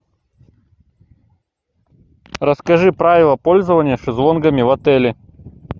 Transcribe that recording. расскажи правила пользования шезлонгами в отеле